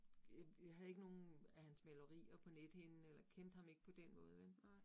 Øh øh jeg havde ikke nogen af hans malerier på nethinden, eller kendte ham ikke på den måde vel